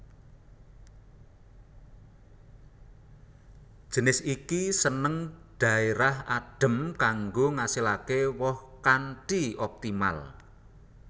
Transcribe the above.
Jinis iki seneng dhaérah adhem kanggo ngasilake woh kanthi optimal